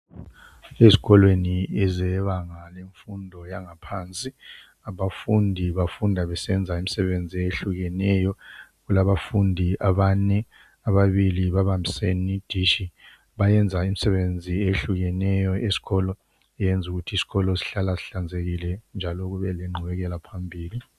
Ezikolweni ezebanga lemfundo yangaphansi abafundi bafunda besenza imisebenzi eyehlukeneyo kulabafundi abane ababili babambisene idishi bayenza imisebenzi eyehlukeneyo esikolo eyeza ukuthi isikolo sihlala sihlanzekile njalo kubeleqgubekelaphambili.